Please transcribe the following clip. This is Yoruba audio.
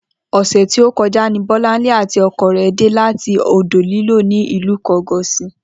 O̩sè̩ tí ó ko̩já ní Bó̩lánlé àti o̩ko̩ rè̩ dé láti odò-líló̩ ní ìlú Ìko̩gòsì